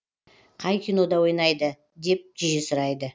қай кинода ойнайды деп жиі сұрайды